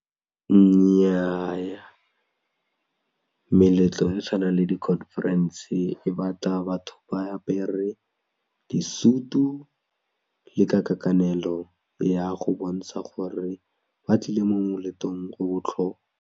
Nnyaa meletlo e tshwanang le di-conference e batla batho ba apere disutu le ka kakanelo ya go bontsha gore ba tlile mo moletlong o botlhokwa.